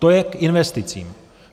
To je k investicím.